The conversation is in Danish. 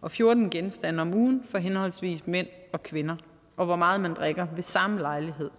og fjorten genstande om ugen for henholdsvis mænd og kvinder og hvor meget man drikker ved samme lejlighed